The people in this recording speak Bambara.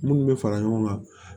Minnu bɛ fara ɲɔgɔn kan